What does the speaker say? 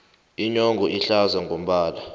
inyongo ihlaza ngombala